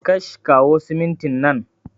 Kash, kawo siminti nan